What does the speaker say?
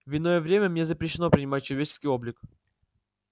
в иное время мне запрещено принимать человеческий облик